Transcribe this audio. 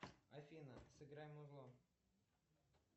афина сыграй музло